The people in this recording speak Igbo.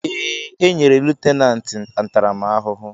Èè, enyere lutenanti ntaramahụhụ.